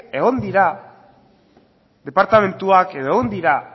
egon dira departamentuak edo egon dira